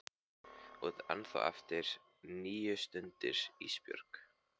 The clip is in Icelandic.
Þú átt ennþá eftir níu stundir Ísbjörg.